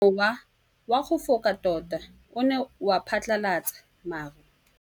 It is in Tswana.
Mowa o wa go foka tota o ne wa phatlalatsa maru.